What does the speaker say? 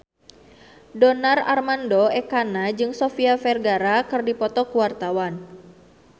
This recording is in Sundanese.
Donar Armando Ekana jeung Sofia Vergara keur dipoto ku wartawan